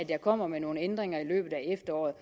jeg kommer med nogle ændringer i løbet af efteråret